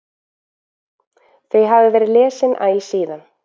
Þau hafa verið lesin æ síðan.